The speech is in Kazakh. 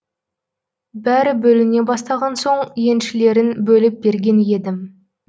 бәрі бөліне бастаған соң еншілерін бөліп берген едім